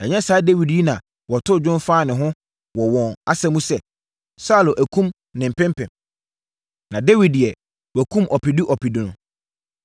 Ɛnyɛ saa Dawid yi na wɔtoo dwom faa ne ho wɔ wɔn asa mu sɛ: “Saulo akum ne mpempem na Dawid deɛ, wakum ɔpedu ɔpedu no?”